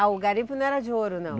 Ah, o garimpo não era de ouro, não?